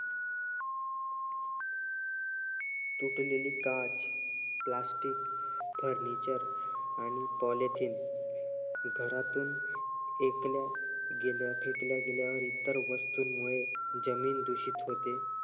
तुटलेली काच Plastic furniture आणि Polytin घरातून फेकल्या गेल्या फेकल्या गेल्या इतर वस्तूंमुळे जमीन दूषित होते.